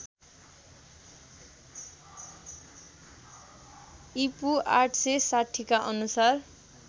ईपू ८६० का अनुसार